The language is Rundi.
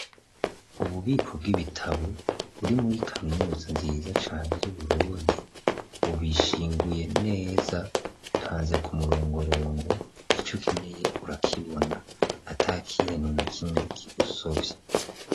Ububiko bw'ibitabo buri muri kaminuso nziza cane y'uburondi ubishinguye neza bipanze ku murongorongo ico keneye urakibona ata kiynuna kimwe kigusovya.